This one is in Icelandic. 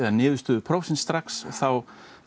niðurstöður prófsins strax þá